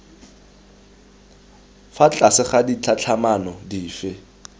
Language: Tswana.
fa tlase ga ditlhatlhamano dife